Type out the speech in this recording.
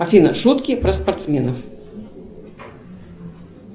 афина шутки про спортсменов